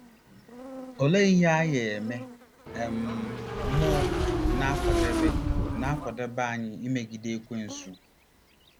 Olee ihe agha ime um mmụọ na-akwadebe na-akwadebe anyị imegide Ekwensu?